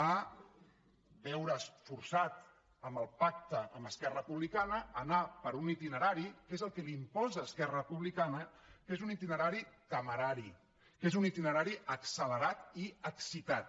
a veure’s forçat amb el pacte amb esquerra republicana a anar per un itinerari que és el que li imposa esquerra republicana que és un itinerari temerari que és un itinerari accelerat i excitat